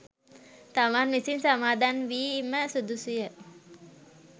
තමන් විසින් සමාදන් වීම සුදුසු ය.